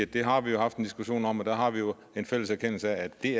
det har vi jo haft en diskussion om og der har vi jo en fælles erkendelse af at det